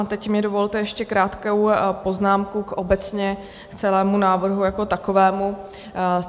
A teď mi dovolte ještě krátkou poznámku obecně k celému návrhu jako takovému.